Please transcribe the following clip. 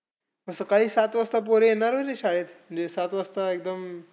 मग सकाळी सात वाजता पोरं येणार नाही ना शाळेत. म्हणजे सात वाजता एकदम